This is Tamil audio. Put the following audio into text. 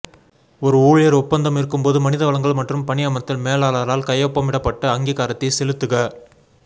ஒரு ஊழியர் ஒப்பந்தம் இருக்கும் போது மனித வளங்கள் மற்றும் பணியமர்த்தல் மேலாளரால் கையொப்பமிடப்பட்ட அங்கீகாரத்தை செலுத்துக